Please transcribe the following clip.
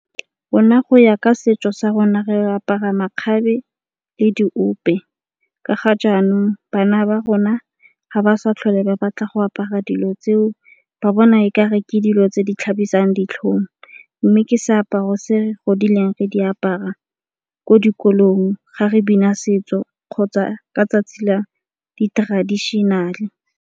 Rona go ya ka setso sa rona re apara makgabe le diope. Ka ga jaanong bana ba rona ga ba sa tlhole ba batla go apara dilo tseo ba bona e ka re ke dilo tse di tlhabisang ditlhong, mme ke seaparo se godileng re di apara ko dikolong ga re bina setso kgotsa ka 'tsatsi la di-traditional-e.